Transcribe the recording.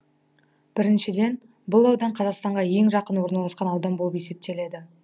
біріншіден бұл аудан қазақстанға ең жақын орналасқан аудан болып есептеледі